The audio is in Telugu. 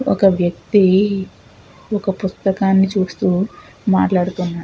ఒక వ్యక్తి ఒక పుస్తకాన్ని చూస్తూ మాట్లాడుతున్నారు.